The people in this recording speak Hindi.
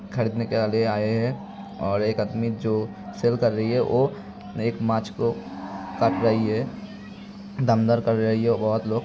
बोहोत लोग खरीदने के लिए आये हैं और एक आदमी जो सेल कर रही हैं वो एक माछ को काट रही है। दम-दर कर रही है।